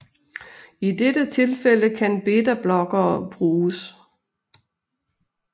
I dette tilfælde kan betablokkere bruges